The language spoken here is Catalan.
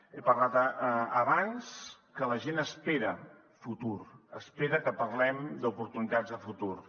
he parlat abans que la gent espera futur espera que parlem d’oportunitats de futur